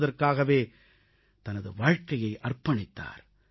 என்பதற்காகவே தனது வாழ்க்கையை அர்ப்பணித்தார்